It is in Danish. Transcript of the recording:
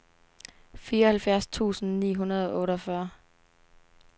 fireoghalvfjerds tusind ni hundrede og otteogfyrre